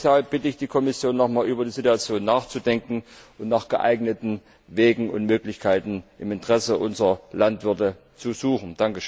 Deshalb bitte ich die Kommission noch einmal, über die Situation nachzudenken und nach geeigneten Wegen und Möglichkeiten im Interesse unserer Landwirte zu suchen.